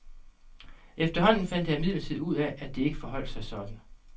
Efterhånden fandt jeg imidlertid ud af, at det ikke forholdt sig sådan.